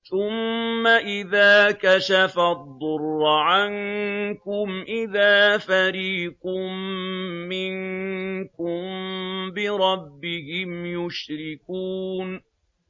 ثُمَّ إِذَا كَشَفَ الضُّرَّ عَنكُمْ إِذَا فَرِيقٌ مِّنكُم بِرَبِّهِمْ يُشْرِكُونَ